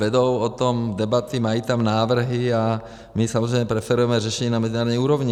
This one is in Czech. Vedou o tom debaty, mají tam návrhy a my samozřejmě preferujeme řešení na mezinárodní úrovni.